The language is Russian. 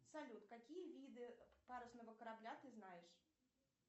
салют какие виды парусного корабля ты знаешь